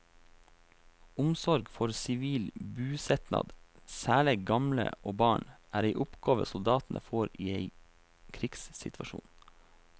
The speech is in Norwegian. Omsorg for sivil busetnad, særleg gamle og barn, er ei oppgåve soldatane får i ein krigssituasjon.